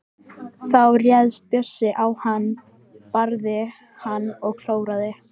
Þá réðst Björg á hann, barði hann og klóraði.